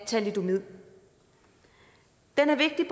thalidomid den er vigtig